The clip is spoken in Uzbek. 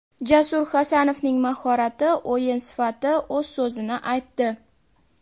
Jasur Hasanovning mahorati, o‘yin sifati o‘z so‘zini aytdi.